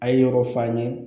A ye yɔrɔ f'an ye